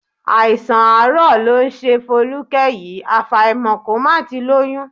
Àìsàn àárọ̀ ló ń ṣe Folúkẹ́ yìí, àfàìmọ̀ kó má ti lóyún